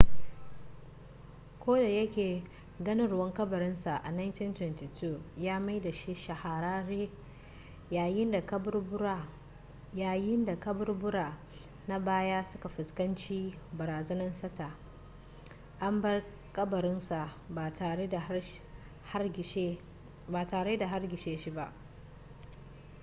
ko da yake ganowar kabarin sa a 1922 ya maida shi shahararre yayin da kaburbura na baya suka fuskanci barazanan sata an bar kabarin sa ba tare da hargitse shi ba